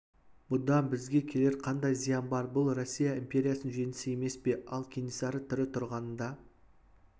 бұдан бізге келер қандай зиян бар бұл россия империясының жеңісі емес пе ал кенесары тірі тұрғанында